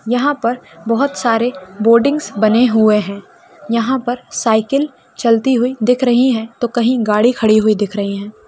यहाँ पर बहौत सारे बॉर्डिंग्स बने हुए हैं यहाँ पर साइकल चलती हुई दिख रही हैं तो कहीं गाड़ी खड़ी हुई दिख रही हैं।